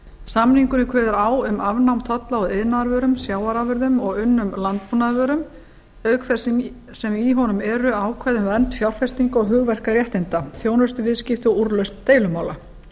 samningurinn við túnis kveður á um afnám tolla á iðnaðarvörum sjávarafurðum og unnum landbúnaðarvörum auk þess sem í honum eru ákvæði um vernd fjárfestinga og hugverkaréttinda þjónustuviðskipti og úrlausn deilumála